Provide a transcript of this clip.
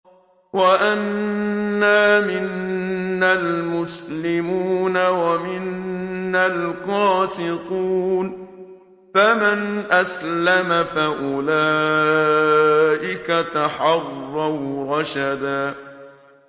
وَأَنَّا مِنَّا الْمُسْلِمُونَ وَمِنَّا الْقَاسِطُونَ ۖ فَمَنْ أَسْلَمَ فَأُولَٰئِكَ تَحَرَّوْا رَشَدًا